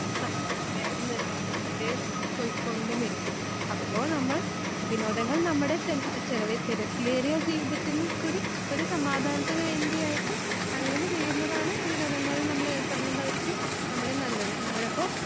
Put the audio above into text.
പൊയ്ക്കൊണ്ടും ഇരിക്കും. അപ്പോ നമ്മൾ വിനോദങ്ങൾ നമ്മുടെ ചില ചില തിരക്കേറിയ ജീവിതത്തിൽ കൂടി ഒരു സമാധാനത്തിനുവേണ്ടി ആയിട്ട് അങ്ങനെ ചെയ്യുന്നതാണ് വിനോദങ്ങളിൽ നമ്മൾ ഏർപ്പെടുന്നതായിരിക്കും നമ്മുടെ നല്ലത്. നമ്മടെ അപ്പൊ